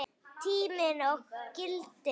Tíminn og gildin